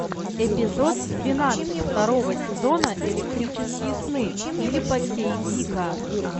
эпизод двенадцать второго сезона электрические сны филипа к дика